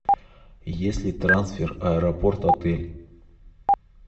есть ли трансфер аэропорт отель